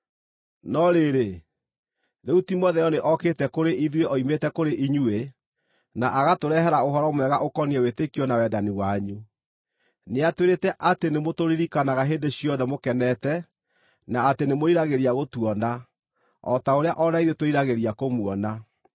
No rĩrĩ, rĩu Timotheo nĩ okĩte kũrĩ ithuĩ oimĩte kũrĩ inyuĩ, na agatũrehere ũhoro mwega ũkoniĩ wĩtĩkio na wendani wanyu. Nĩatwĩrĩte atĩ nĩmũtũririkanaga hĩndĩ ciothe mũkenete, na atĩ nĩmwĩriragĩria gũtuona, o ta ũrĩa o na ithuĩ twĩriragĩria kũmuona.